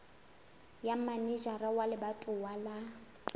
ya manejara wa lebatowa wa